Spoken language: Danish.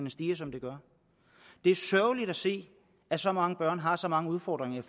stiger som det gør det er sørgeligt at se at så mange børn har så mange udfordringer